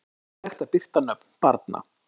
Óeðlilegt að birta nöfn barna